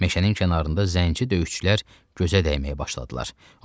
Meşənin kənarında zənci döyüşçülər gözə dəyməyə başladılar.